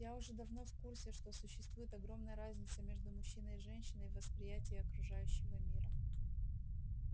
я уже давно в курсе что существует огромная разница между мужчиной и женщиной в восприятии окружающего мира